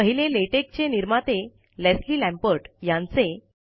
पहिले लेटेक चे निर्माते लेस्ली लॅम्पर्ट यांचे